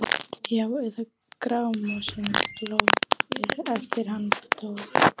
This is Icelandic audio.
Já- eða Grámosinn glóir eftir hann Thor?